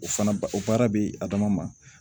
O fana ba o baara bɛ a dama ma